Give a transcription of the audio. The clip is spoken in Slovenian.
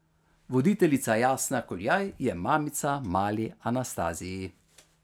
Voditeljica Jasna Kuljaj je mamica mali Anastaziji.